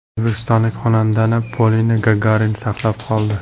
O‘zbekistonlik xonandani Polina Gagarina saqlab qoldi .